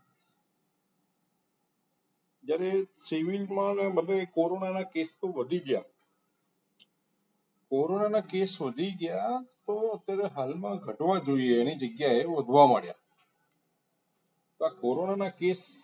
જ્યારે civil માં બધા corona cases ક વધી ગયા corona ના case વધી ગયા તો અત્યારે હાલમાં ઘટવા જોઈએ એની જગ્યાએ વધવા માંડ્યા આ corona ના case